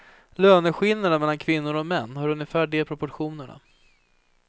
Löneskillnaderna mellan kvinnor och män har ungefär de proportionerna.